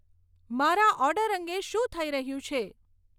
મારા ઓર્ડર અંગે શું થઇ રહ્યું છે